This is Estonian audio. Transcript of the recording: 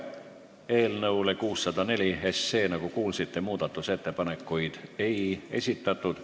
Eelnõu 604 kohta, nagu kuulsite, muudatusettepanekuid ei esitatud.